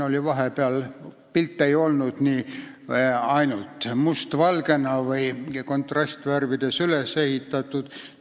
Pilt ei olnud küll ainult mustvalgena või kontrastvärvides üles ehitatud.